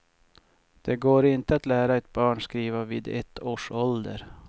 Det går inte att lära ett barn skriva vid ett års ålder.